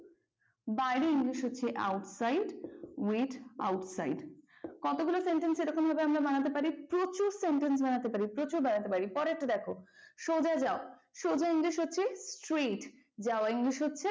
বাইরের english হচ্ছে outside. Wait outside কতগুলো sentence এরকম ভাবে আমরা বানাতে পারি প্রচুর sentence বানাতে পারি প্রচার বানাতে পারি পরের টা দেখো সোজা যাও। সোজা english হচ্ছে straight যাওয়া english হচ্ছে,